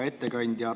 Hea ettekandja!